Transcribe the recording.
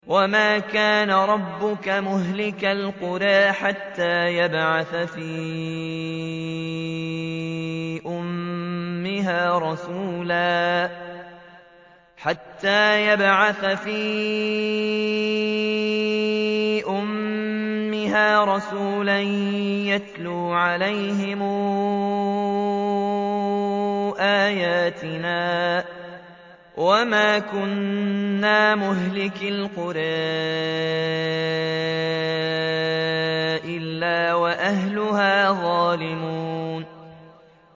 وَمَا كَانَ رَبُّكَ مُهْلِكَ الْقُرَىٰ حَتَّىٰ يَبْعَثَ فِي أُمِّهَا رَسُولًا يَتْلُو عَلَيْهِمْ آيَاتِنَا ۚ وَمَا كُنَّا مُهْلِكِي الْقُرَىٰ إِلَّا وَأَهْلُهَا ظَالِمُونَ